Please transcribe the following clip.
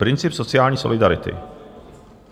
Princip sociální solidarity.